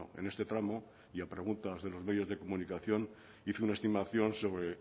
en este tramo y a preguntas de los medios de comunicación hice una estimación sobre